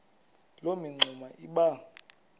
loo mingxuma iba